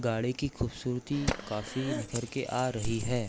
गाड़ी की खूबसूरती काफ़ी निखर के आ रही है।